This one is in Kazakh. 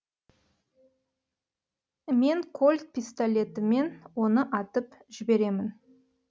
мен кольт пистолетімен оны атып жіберемін